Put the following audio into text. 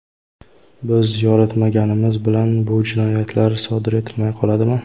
Biz yoritmaganimiz bilan bu jinoyatlar sodir etilmay qoladimi?